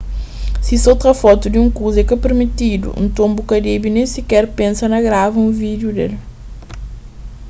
si so tra fotu di un kuza é ka pirmitidu nton bu ka debe nen siker pensa na grava un vídiu del